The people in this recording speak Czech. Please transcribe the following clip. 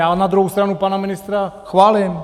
Já na druhou stranu pana ministra chválím.